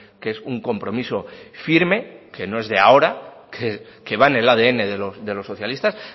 que es un compromiso firme que no es de ahora que va en el adn de los socialistas